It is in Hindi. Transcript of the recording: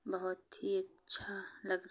बहुत ही अच्छा लगा --